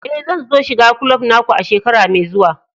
Eh, zan so shiga kulob na ku a shekara mai zuwa.